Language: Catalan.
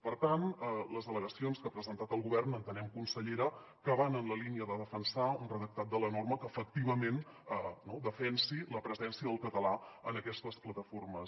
per tant les al·legacions que ha presentat el govern entenem consellera que van en la línia de defensar un redac·tat de la norma que efectivament defensi la presència del català en aquestes plata·formes